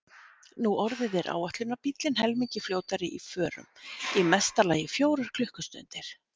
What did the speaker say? Nú orðið er áætlunarbíllinn helmingi fljótari í förum, í mesta lagi fjórar klukkustundir.